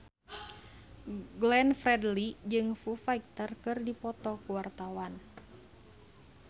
Glenn Fredly jeung Foo Fighter keur dipoto ku wartawan